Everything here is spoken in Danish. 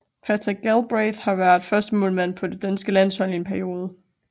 Patrick Galbraith har været førstemålmand på det danske landshold i en periode